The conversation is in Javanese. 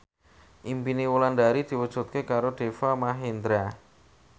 impine Wulandari diwujudke karo Deva Mahendra